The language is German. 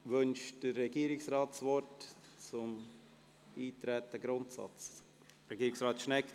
Wünscht der Regierungsrat das Wort zum Eintreten beziehungsweise zur Grundsatzdebatte?